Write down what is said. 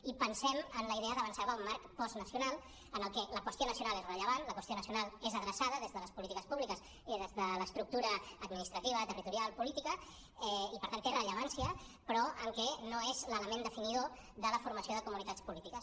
i pensem en la idea d’avançar cap a un marc postnacional en el que la qüestió nacional és rellevant la qüestió nacional és adreçada des de les polítiques públiques i des de l’estructura administrativa territorial política i per tant té rellevància però no és l’element definidor de la formació de comunitats polítiques